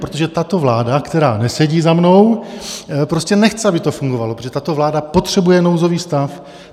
Protože tato vláda, která nesedí za mnou, prostě nechce, aby to fungovalo, protože tato vláda potřebuje nouzový stav.